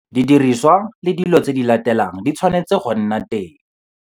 Didirisiwa le dilo tse di latelang di tshwanetse go nna teng